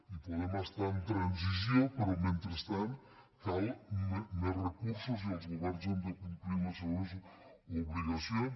hi podem estar en transició però mentrestant calen més recursos i els governs han de complir les seves obligacions